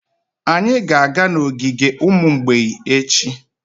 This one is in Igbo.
Anyị ga-aga n'ogige ụmụ mgbei echi.